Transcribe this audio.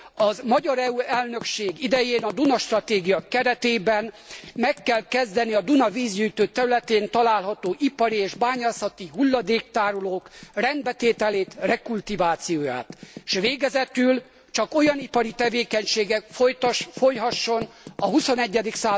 A magyar EU elnökség idején a Duna stratégia keretében meg kell kezdeni a Duna vízgyűjtő területén található ipari és bányászati hulladéktárolók rendbetételét, rekultivációját. S végezetül, csak olyan ipari tevékenység folyhasson a XXI.